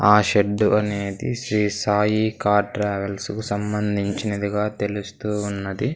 ఆ షెడ్డు అనేది శ్రీ సాయి కార్ ట్రావెల్స్ కి సంబంధించినదిగా తెలుస్తూ ఉన్నది.